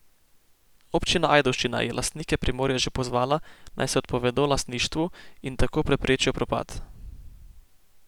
Občina Ajdovščina je lastnike Primorja že pozvala, naj se odpovedo lastništvu in tako preprečijo propad.